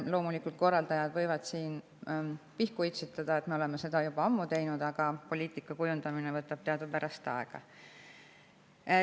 Loomulikult võivad korraldajad pihku itsitada, et nemad on seda kõike ju juba ammu teinud, aga poliitika kujundamine võtab teadupärast aega.